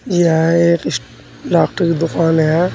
यह एक इस डॉक्टर की दुकान है।